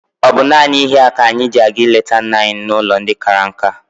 Ọ bụ naanị ihe a ka anyị ji aga ịleta nna anyị n'ụlọ ndị kara nka?